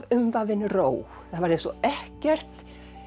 umvafinn ró það var eins og ekkert